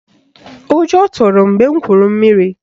Ụjọ tụrụ m mgbe m gwuru mmiri